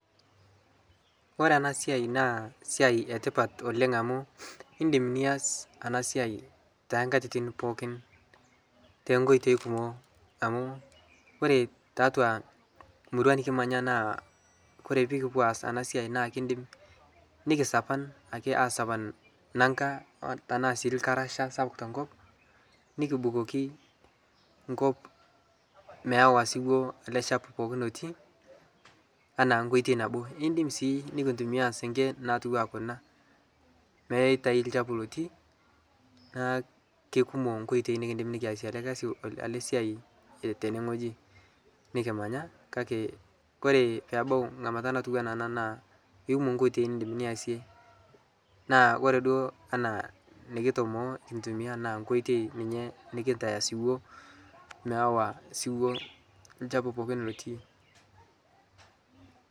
Kore ena siaai naa esiai etipat oleng amu iindim nias ana siaai te inkatitin pookin te nkoitoi kumok amuu oree tiatua murrua nikimanya naa kore piikipuo aas ena siaai naa kindimi nikisapan ake aasapan nanka anaa sii ilkarasha sapuk te nkop, nikibukoki inkop meewa siwuo ale chapu lotii anaa nkoitoi nabo niindim sii nikintumiya seenke natiwua kuna, meitai lchapuu lotii naa kekumok nkoitoi nikindim nikiasie ale kasi, ana siai teneweji nikimanya kake koree peebau ng'amata natiwuaa ana naa kekumok nkoitoi niindim naisie, naa ore duo anaa nikitomoo nikintumiya anaa nkoitoi ninye nikinteye siwuo meewa siwuo ilchapu pookin lotii.